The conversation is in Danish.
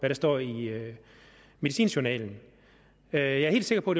der står i medicinjournalen jeg er helt sikker på